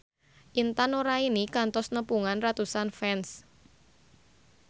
Intan Nuraini kantos nepungan ratusan fans